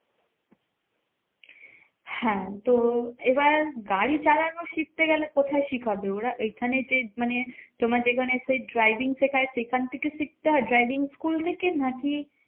হ্যাঁ তো এবার গাড়ি চালানো শিখতে গেলে কোথায় শিখাবে ওরা? এখানে যে মানে তোমার যেখানে সেই driving শেখায় সেখান থেকে শিখতে হয় driving school থেকে? নাকি